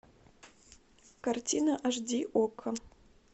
картина аш ди окко